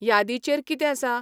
यादीचेर कितें आसा?